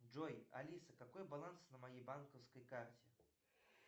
джой алиса какой баланс на моей банковской карте